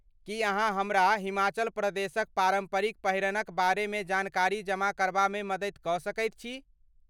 की अहाँ हमरा हिमाचल प्रदेशक पारम्परिक पहिरनक बारेमे जानकारी जमा करबामे मदति कऽ सकैत छी।